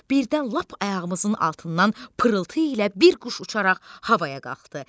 Birdən lap ayağımızın altından pırıltı ilə bir quş uçaraq havaya qalxdı.